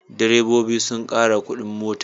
Direbobi sun ƙara kuɗin mota.